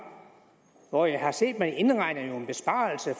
hvor jeg har set at man indregner en besparelse